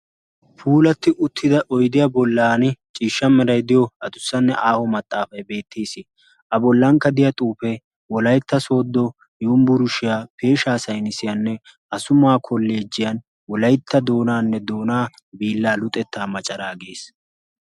puulatti uttida oydiya bollan ciishsha meray diyo adussanne aaho maxaafay beettiis a bollankka diya xuufe wolaytta sooddo yumbburshiyaa peeshaa saynisiyaanne asumawaa koleejiyan wolaytta doonaanne doonaa biilla luxettaa maccaraa giis